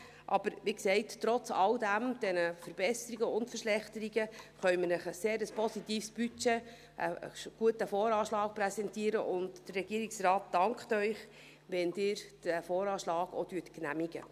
Aber wie gesagt: Trotz all dieser Verbesserungen und Verschlechterungen können wir Ihnen ein sehr positives Budget, einen guten VA, präsentieren, und der Regierungsrat dankt Ihnen, wenn Sie diesen VA genehmigen.